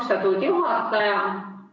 Austatud juhataja!